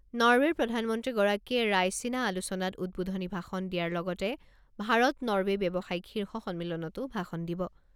নৰৱেৰ প্ৰধানমন্ত্ৰীগৰাকীয়ে ৰায়ছিনা আলোচনাত উদ্বোধনী ভাষণ দিয়াৰ লগতে ভাৰত নৰৱে ব্যৱসায়িক শীৰ্ষ সন্মিলনতো ভাষণ দিব।